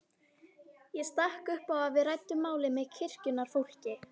Ég stakk upp á að við ræddum málið með kirkjunnar fólki.